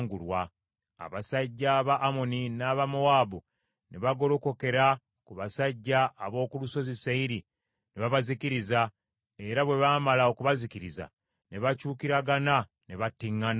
Abasajja ba Amoni n’aba Mowaabu ne bagolokokera ku basajja ab’oku Lusozi Seyiri ne babazikiriza, era bwe baamala okubazikiriza, ne bakyukiragana ne battiŋŋana.